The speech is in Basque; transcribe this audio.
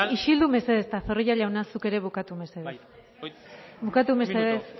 isildu mesedez eta zorrilla jauna zuk ere bukatu mesedez bukatu mesedez